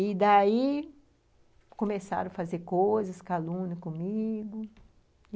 E, daí, começaram a fazer coisas, calúnias comigo.